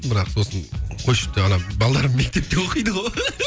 бірақ сосын қойшы деп ана балаларым мектепте оқиды ғой